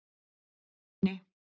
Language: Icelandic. Nenni